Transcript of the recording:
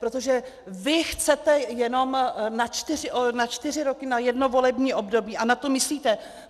Protože vy chcete jenom na čtyři roky, na jedno volební období a na to myslíte.